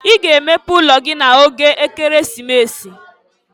I ga emepe ụlọ gị n'oge Ekeresimesi!